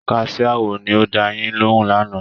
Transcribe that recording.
Kaṣiá wo ni ó dáa yín lóhùn lánàá?